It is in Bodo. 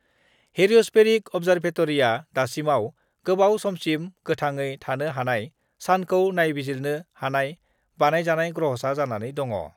हेलिअस्फेरिक अब्जार्भेटरिआ दासिमाव गोलाव समसिम गोथाङै थानो हानाय सानखौ नायबिजिरनो हानाय बानायजानाय ग्रहसा जानानै दङ।